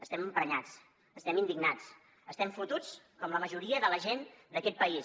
estem emprenyats estem indignats estem fotuts com la majoria de la gent d’aquest país